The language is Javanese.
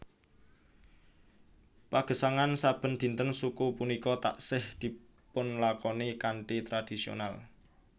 Pagesangan saben dinten suku punika taksih dipunlakoni kanthi tradhisional